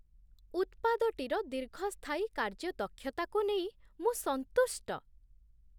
ଉତ୍ପାଦଟିର ଦୀର୍ଘସ୍ଥାୟୀ କାର୍ଯ୍ୟଦକ୍ଷତାକୁ ନେଇ ମୁଁ ସନ୍ତୁଷ୍ଟ।